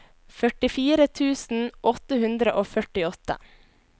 førtifire tusen åtte hundre og førtiåtte